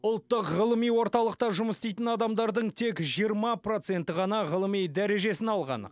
ұлттық ғылыми орталықта жұмыс істейтін адамдардың тек жиырма проценті ғана ғылыми дәрежесін алған